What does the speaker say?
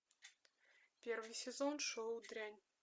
первый сезон шоу дрянь